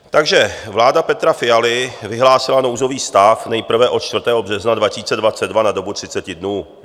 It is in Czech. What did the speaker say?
Takže vláda Petra Fialy vyhlásila nouzový stav nejprve od 4. března 2022 na dobu 30 dnů.